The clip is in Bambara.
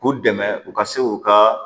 K'u dɛmɛ u ka se k'u ka